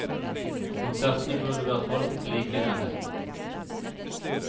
Konsertene burde vært holdt like i nærheten.